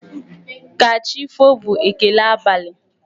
Ka chi foo' bụ ekele abali.